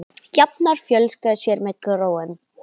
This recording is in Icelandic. Jafnar fjölga sér með gróum.